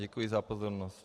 Děkuji za pozornost.